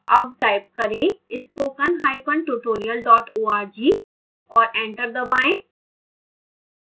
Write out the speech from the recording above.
अब type करें spokentutorial org और enter दबाएं